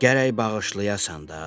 Gərək bağışlayasan da.